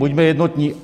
Buďme jednotní.